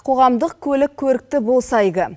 қоғамдық көлік көрікті болса игі